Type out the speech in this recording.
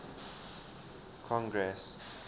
congress